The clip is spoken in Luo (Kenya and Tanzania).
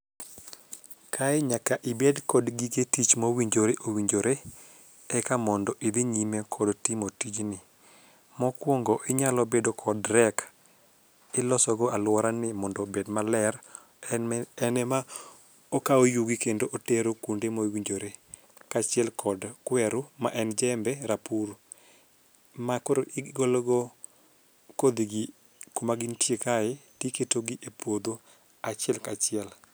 Kae nyaka ibed kod gige tich mowinjore owinjore eka mondo idhi nyime kod timo tijni ,mokuongo inyalo bedo kog reck iloso go aluorani mondo obed maler en ema okawo yugi kendo otero kuonde ma owinjore ka achiel kod kweru ma en jembe rapur makoro igolo go kodhi gi kuma gintie kae to iketo gi e puodho achiel kachiel.